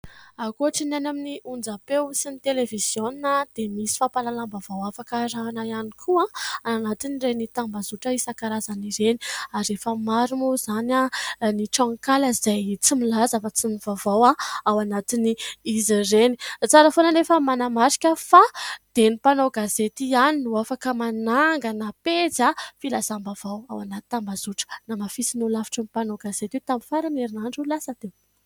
Akoatry ny any amin'ny onjam-peo sy ny televiziona dia nisy fampalalam-bavao afaka arahana ihany koa anatin' ireny tambazotra isankarazany ireny ary efa maro moa izany ny tranonkala izay tsy milaza afa-tsy ny vaovao ao anatiny izy ireny. Tsara foana anefa manamarika fa dia ny mpanao gazety ihany no afaka manangana pejy filazam-bavao ao anatin'ny tambazotra. Namafisin'ny holafitry ny mpanao gazety tamin'ny faran'ny herinandro lasa teo.